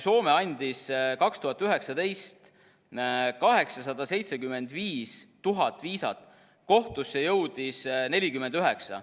Soome andis 2019. aastal 875 000 viisat, kohtusse jõudis 49.